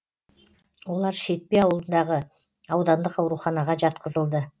олар шетпе ауылындағы аудандық ауруханаға жатқызылды